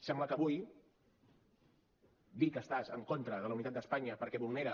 sembla que avui dir que estàs en contra de la unitat d’espanya perquè vulnera